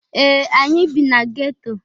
Ee! Anyị bị na geto.